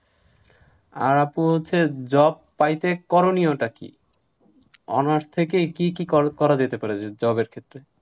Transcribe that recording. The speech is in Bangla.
আর আপু হচ্ছে job পাইতে করণীয় টা কি? honours থেকে কি কি কর~ করা যেতে পারে যে job এর ক্ষেত্রে?